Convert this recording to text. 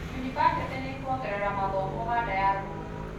yunibacĩtĩ nĩkuongerera mathomo ũganda ya rũgongo